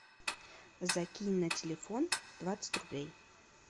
закинь на телефон двадцать рублей